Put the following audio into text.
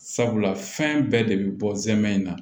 Sabula fɛn bɛɛ de bɛ bɔ zɛmɛ in na